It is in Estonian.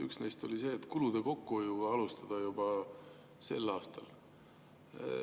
Üks neist oli see, et kulude kokkuhoidu alustada juba sel aastal.